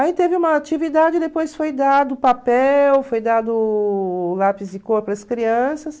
Aí teve uma atividade, depois foi dado papel, foi dado lápis de cor para as crianças.